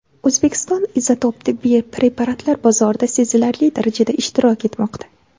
O‘zbekiston izotop tibbiy preparatlar bozorida sezilarli darajada ishtirok etmoqda.